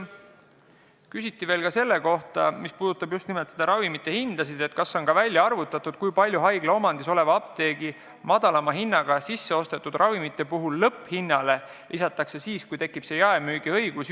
Küsiti veel ka ravimite hindade kohta: kas on välja arvutatud, kui palju haigla omandis oleva apteegi madalama hinnaga sisseostetud ravimite puhul lõpphinnale lisatakse, kui tekib jaemüügiõigus.